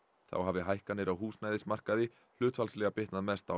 þá hafi hækkanir á húsnæðismarkaði hlutfallslega bitnað mest á